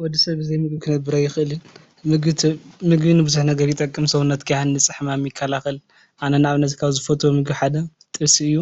ወዲ ሰብ ብዘይ ምግቢ ክነብር አይክእልን። ምግቢ ንብዙሕ ነገር ይጠቅም። ንሰውነትካ ይሃንፅ፣ ሕማም ይከላከል። አነ ንአብነት ካብ ዝፈትዮ ምግቢ ሓደ ጥብሲ እዩ።